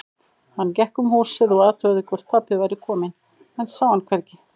Hann gekk um húsið og athugaði hvort pabbi væri kominn, en sá hann hvergi.